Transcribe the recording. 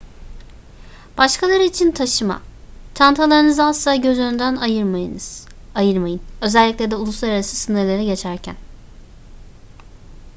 başkaları için taşıma çantalarınızı asla göz önünden ayırmayın özellikle de uluslararası sınırları geçerken